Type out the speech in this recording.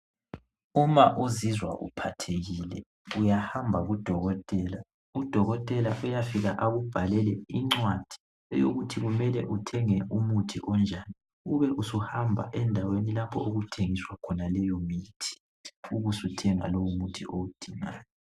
Uma uzizwa uphathekile uyahamba kudokotela, udokotela uyafika akubhalele incwadi eyokuthi kumele uthenge umuthi onjani ube usuhamba endaweni lapho okuthengiswa khona umuthi ubusuthenga lowo muthi owudingayo